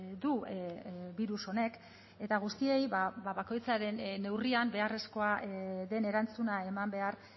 du birus honek eta guztiei bakoitzaren neurrian beharrezkoa den erantzuna eman behar